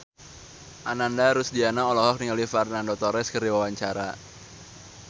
Ananda Rusdiana olohok ningali Fernando Torres keur diwawancara